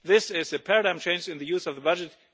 This is a paradigm change in the use of the budget.